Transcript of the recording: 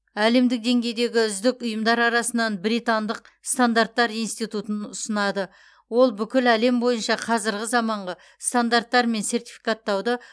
әлемдік деңгейдегі үздік ұйымдар арасынан британдық стандарттар институтын ұсынады ол бүкіл әлем бойынша қазіргі заманғы стандарттар мен сертификаттауды